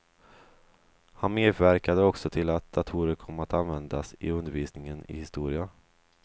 Han medverkade också till att datorer kom att användas i undervisningen i historia.